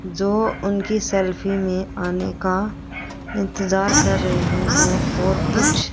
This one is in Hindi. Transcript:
जो उनकी सैलरी में आने का इंतजार कर रहे हैं और कुछ--